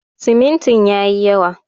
Simintin ya yi yawa.